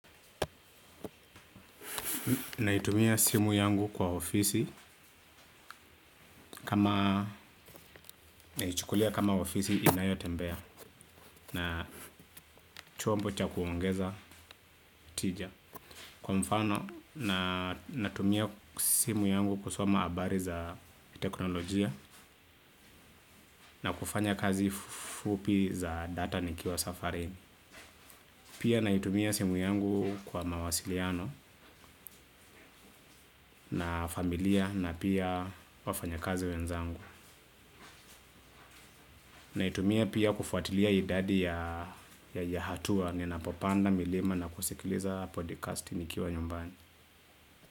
Naitumia simu yangu kwa ofisi kama naichukulia kama ofisi inayotembea na chombo cha kuongeza tija. Kwa mfano natumia simu yangu kusoma habari za teknolojia na kufanya kazi fupi za data nikiwa safarini. Pia naitumia simu yangu kwa mawasiliano na familia na pia wafanyakazi wenzangu. Naitumia pia kufuatilia idadi ya hatua. Ninapopanda milima na kusikiliza podcasti nikiwa nyumbani.